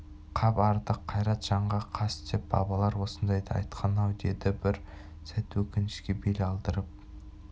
қап артық қайрат жанға қас деп бабалар осындайда айтқан-ау деді бір сәт өкінішке бел алдырып